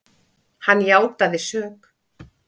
Hann játaði sök.